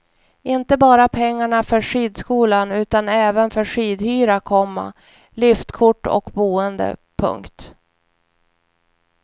Inte bara pengarna för skidskolan utan även för skidhyra, komma liftkort och boende. punkt